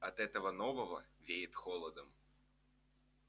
от этого нового веет холодом